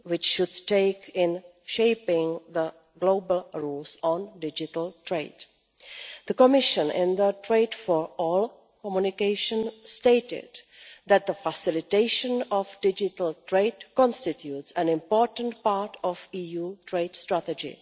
EU should take in shaping the global rules on digital trade. The Commission, in the Trade for All Communication, stated that the facilitation of digital trade constitutes an important part of EU trade strategy.